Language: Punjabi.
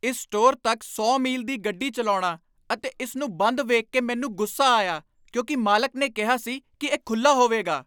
ਇਸ ਸਟੋਰ ਤੱਕ ਸੌ ਮੀਲ ਦੀ ਗੱਡੀ ਚੱਲਾਉਣਾ ਅਤੇ ਇਸ ਨੂੰ ਬੰਦ ਵੇਖ ਕੇ ਮੈਨੂੰ ਗੁੱਸਾ ਆਇਆ ਕਿਉਂਕਿ ਮਾਲਕ ਨੇ ਕਿਹਾ ਸੀ ਕੀ ਇਹ ਖੁੱਲ੍ਹਾ ਹੋਵੇਗਾ